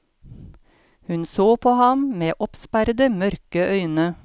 Hun så på ham med oppsperrede, mørke øyne.